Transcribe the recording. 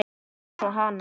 Eins og hana.